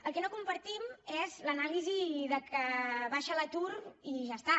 el que no compartim és l’anàlisi que baixa l’atur i ja està